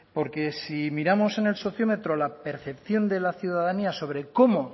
porque si miramos en el sociómetro la percepción de la ciudadanía sobre cómo